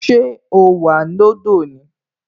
Ṣé o wà lọ́dọ̀ ni?